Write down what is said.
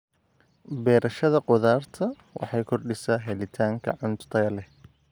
Beerashada khudaarta waxay kordhisaa helitaanka cunto tayo leh.